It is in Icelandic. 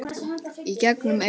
Í gegnum eyrun.